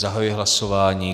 Zahajuji hlasování.